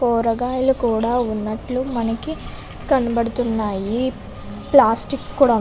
కూరగాయలు కూడా ఉన్నట్లు మనకి కనపడుతున్నాయి ప్లాస్టిక్ కూడా --